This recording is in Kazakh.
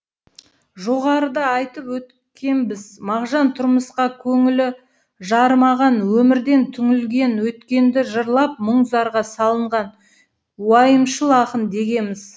жоғарыда айтып өткенбіз мағжан тұрмысқа көңілі жарымаған өмірден түңілген өткенді жырлап мұң зарға салынған уайымшыл ақын дегеміз